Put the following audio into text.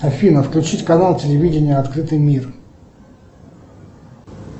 афина включить канал телевидения открытый мир